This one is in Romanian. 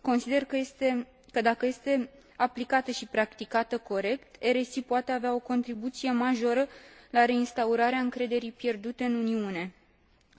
Consider că, dacă este aplicată și practicată corect, RSI poate avea o contribuție majoră la reinstaurarea încrederii pierdute în Uniune.